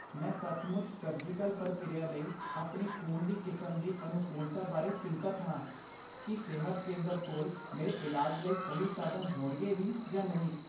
ਮੈਂ ਸੱਚਮੁੱਚ ਸਰਜੀਕਲ ਪ੍ਰਕਿਰਿਆ ਲਈ ਆਪਣੀ ਖ਼ੂਨ ਦੀ ਕਿਸਮ ਦੀ ਅਨੁਕੂਲਤਾ ਬਾਰੇ ਚਿੰਤਤ ਹਾਂ। ਕੀ ਸਿਹਤ ਕੇਂਦਰ ਕੋਲ ਮੇਰੇ ਇਲਾਜ ਲਈ ਸਹੀ ਸਾਧਨ ਹੋਣਗੇ ਵੀ ਜਾਂ ਨਹੀਂ?